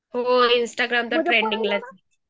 हो इंस्टाग्राम त्यात ट्रेंडिंग ला असते .